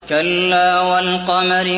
كَلَّا وَالْقَمَرِ